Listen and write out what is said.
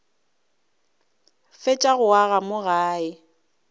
fetša go aga mo gae